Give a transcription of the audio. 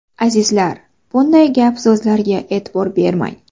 Azizlar, bunday gap-so‘zlarga e’tibor bermang.